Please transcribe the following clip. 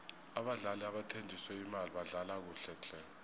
abadlali nabathenjiswe imali badlala kuhle tle